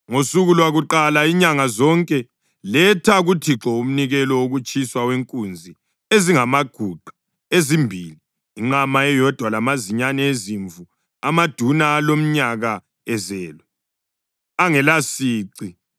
“ ‘Ngosuku lwakuqala inyanga zonke, letha kuThixo umnikelo wokutshiswa wenkunzi ezingamaguqa ezimbili, inqama eyodwa lamazinyane ezimvu amaduna alomnyaka ezelwe, angelasici.